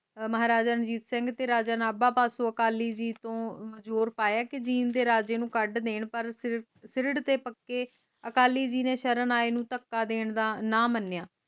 ਮਹਾਰਾਜਾ ਰਣਜੀਤ ਸਿੰਘ ਤੇ ਰਾਜਾ ਨੇ ਅਕਾਲੀ ਜੀ ਜ਼ੋਰ ਪਾਯਾ ਕਿ ਜੀਂਦ ਦੇ ਰਾਜੇ ਨੂੰ ਕੱਢ ਦੇਣ ਫਿਰਡ ਦੇ ਪੱਕੇ ਅਕਾਲੀ ਜੀ ਨੇ ਸ਼ਰਨ ਆਏ ਨੂੰ ਡੱਕਾ ਦੇਣ ਦਾ ਨਾ ਮਨੀਆਂ